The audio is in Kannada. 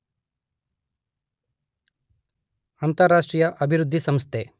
ಅಂತಾರಾಷ್ಟ್ರೀಯ ಅಭಿವೃದ್ಧಿ ಸಂಸ್ಥೆ